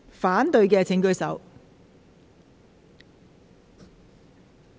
反對的請舉手。